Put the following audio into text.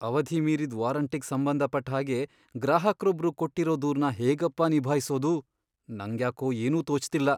ಅವಧಿ ಮೀರಿದ್ ವಾರಂಟಿಗ್ ಸಂಬಂಧ ಪಟ್ಟ್ಹಾಗೆ ಗ್ರಾಹಕ್ರೊಬ್ರು ಕೊಟ್ಟಿರೋ ದೂರ್ನ ಹೇಗಪ್ಪಾ ನಿಭಾಯ್ಸೋದು, ನಂಗ್ಯಾಕೋ ಏನೂ ತೋಚ್ತಿಲ್ಲ.